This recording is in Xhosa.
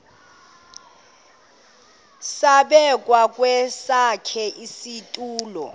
zabekwa kwesakhe isitulo